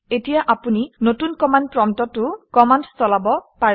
এতিয়া আপুনি নতুন কমাণ্ড প্ৰম্পটতো কমাণ্ড চলাব পাৰে